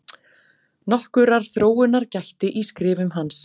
Nokkurrar þróunar gætti í skrifum hans.